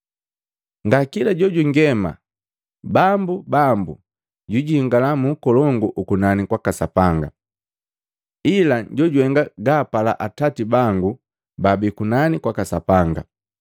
“Nga kila jojungema, ‘Bambu, Bambu’ jwijingala mu Ukolongu ukunani kwaka Sapanga, ila jojuhenga gaapala Atati bangu babii kunani kwaka Sapanga.